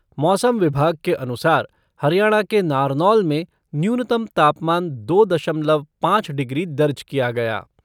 मौसम विभाग के अनुसार हरियाणा के नारनौल में न्यूनतम तापमान दो दशमलव पाँच डिग्री दर्ज किया गया।